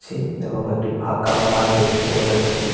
ছে এবং একটি ফাঁকা মাঠ দেখতে পাওয়া যাচ্ছে--